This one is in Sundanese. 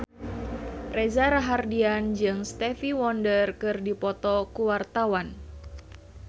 Reza Rahardian jeung Stevie Wonder keur dipoto ku wartawan